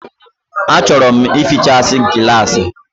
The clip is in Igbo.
A chọrọ m ịfịchasi gịlasi